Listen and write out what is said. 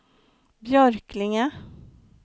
Björklinge